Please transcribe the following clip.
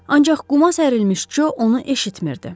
Ancaq quma sərilmiş Co onu eşitmirdi.